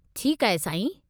ठीकु आहे, साईं।